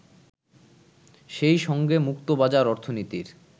সেই সঙ্গে মুক্তবাজার অর্থনীতির